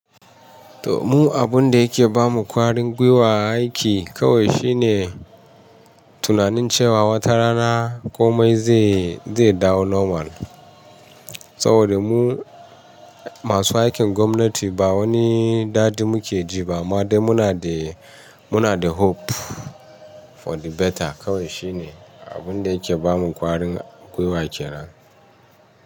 To mu abun dayake bamu kwarin gwiwa aiki kawai shine tunanin cewa wata rana komai zai, zai dawo normal. Saboda mu masu aikin gwamnati ba wani dadi muke jiba amma dai munada, munada hope for the better. Kawai shine abunda yake ba mu kwarin gwiwa kenan.